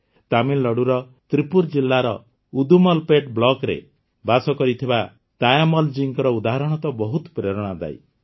ତାମିଲନାଡ଼ୁର ତ୍ରିପ୍ପୁର ଜିଲ୍ଲାର ଉଦୁମଲପେଟ୍ ବ୍ଲକରେ ବାସ କରୁଥିବା ତାୟମ୍ମଲଜୀଙ୍କ ଉଦାହରଣ ତ ବହୁତ ପ୍ରେରଣାଦାୟୀ